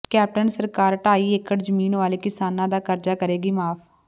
captain ਸਰਕਾਰ ਢਾਈ ਏਕੜ ਜ਼ਮੀਨ ਵਾਲੇ ਕਿਸਾਨਾਂ ਦਾ ਕਰਜ਼ਾ ਕਰੇਗੀ ਮੁਆਫ